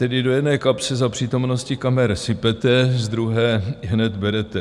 Tedy do jedné kapsy za přítomnosti kamer sypete, z druhé ihned berete.